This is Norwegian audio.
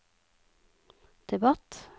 debatt